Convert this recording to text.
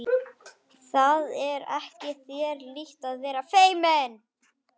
Það er ekki þér líkt að vera feiminn!